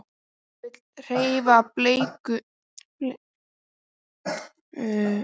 Hún vill hreina bleiu og mat.